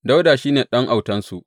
Dawuda shi ne ɗan autansu.